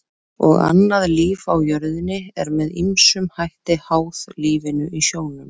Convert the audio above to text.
Og annað líf á jörðinni er með ýmsum hætti háð lífinu í sjónum.